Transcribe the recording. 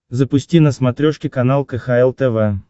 запусти на смотрешке канал кхл тв